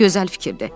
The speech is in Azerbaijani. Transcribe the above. Gözəl fikirdir.